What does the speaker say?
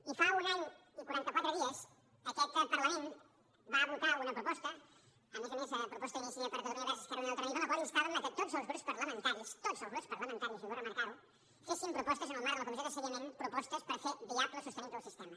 i fa un any i quarantaquatre dies aquest parlament va votar una proposta a més a més a proposta d’iniciativa per catalunya verds esquerra unida i alternativa en la qual instàvem que tots els grups parlamentaris tots els grups parlamentaris i vull remarcar ho féssim propostes en el marc de la comissió de seguiment propostes per fer viable o sostenible el sistema